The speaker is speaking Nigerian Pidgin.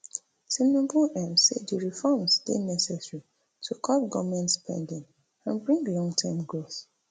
tinubu um say di reforms dey necessary to cut goment spending and bring longterm growth